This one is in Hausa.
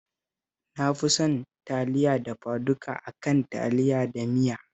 Na fi son Taliya dafaduka a kan Taliya da miya